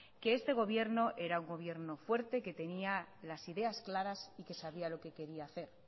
que este gobierno era un gobierno fuerte que tenía las ideas claras y que sabía lo que quería hacer